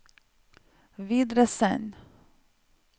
videresend